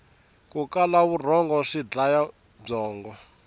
ku kala vurhongo swi dlaya byongo